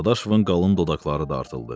Dadaşovun qalın dodaqları dartıldı.